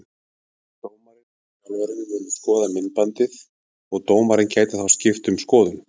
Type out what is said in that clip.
Dómarinn og þjálfarinn munu skoða myndband og dómarinn gæti þá skipt um skoðun.